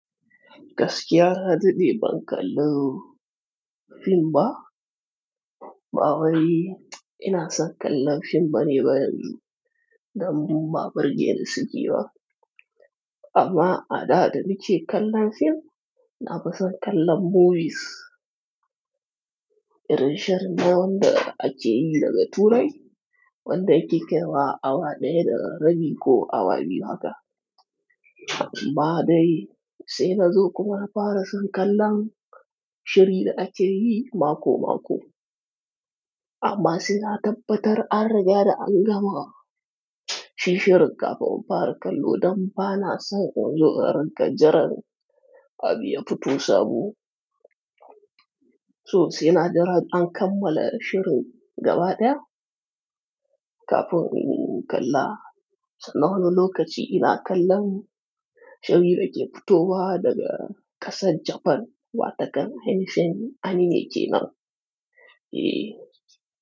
Gaskiya na daɗe ban kalla fim ba? Ba wai ina son kallon fim bane ba yanzu, dan ba birge ni suke ba. Amma a da nike kallon fim na fi son kallon movies. Irin shirin da wanda ake yi daga turai, wanda yake kai wa awa ɗaya da rabi ko awa biyu haka. Amma dai sai na zo kuma na fara son kallon shiri da ake yi mako-mako. Amma sai na tabbatar an riga da an gama shi shirin kafin in fara kallo don ba na son in zo rinƙa jiran abu ya fito sabo. To sai na jira an kammala shirin gaba ɗaya. Kafin in kalla. Sannan lokaci ina kallon shirin da ke futuwa daga ƙasar Japan wataƙan ainihin anime ke nan. Eh.